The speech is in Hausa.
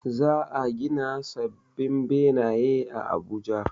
Za a gina sabbin benaye a Abuja